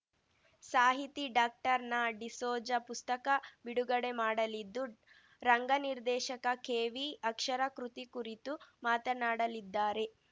ಸಾಹಿತಿ ಡಾಕ್ಟರ್ನಾಡಿಸೋಜ ಪುಸ್ತಕ ಬಿಡುಗಡೆ ಮಾಡಲಿದ್ದು ರಂಗ ನಿರ್ದೇಶಕ ಕೆವಿಅಕ್ಷರ ಕೃತಿ ಕುರಿತು ಮಾತನಾಡಲಿದ್ದಾರೆ